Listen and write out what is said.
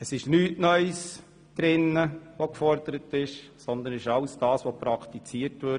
Es wird nichts Neues gefordert, sondern es steht nur drin, was schon praktiziert wird.